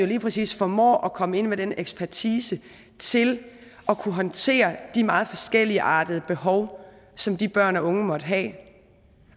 lige præcis formår at komme ind med den ekspertise til at kunne håndtere de meget forskelligartede behov som de børn og unge måtte have